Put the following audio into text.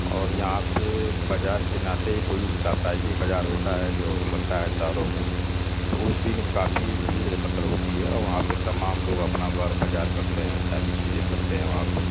और यहाँ पे बाज़ार के नाते ही कोई साप्ताहिक बाज़ार होता है जो लगता है शहरों में। तो उस दिन काफी भीड़ एकत्रित होती है। तमाम लोग अपना बर-बाजार करते हैं। सारी चीजें करते हैं वहाँ पे।